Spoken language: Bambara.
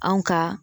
Anw ka